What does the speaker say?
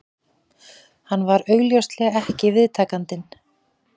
Hann var augljóslega ekki viðtakandinn